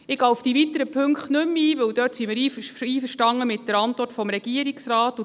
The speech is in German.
Ich gehe auf die weiteren Punkte nicht mehr ein, denn dort sind wir einverstanden mit der Antwort des Regierungsrates.